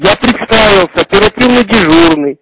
я представился оперативный дежурный